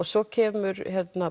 svo kemur